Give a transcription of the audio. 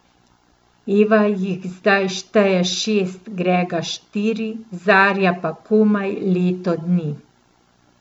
Eva jih zdaj šteje šest, Grega štiri, Zarja pa komaj leto dni.